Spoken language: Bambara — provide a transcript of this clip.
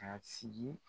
Ka sigi